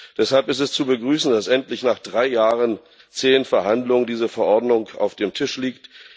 Deshalb ist es zu begrüßen, dass endlich, nach drei Jahren zäher Verhandlungen, diese Verordnung auf dem Tisch liegt.